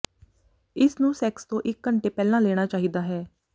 ਇਸ ਨੂੰ ਸੈਕਸ ਤੋਂ ਇੱਕ ਘੰਟੇ ਪਹਿਲਾਂ ਲੈਣਾ ਚਾਹੀਦਾ ਹੈ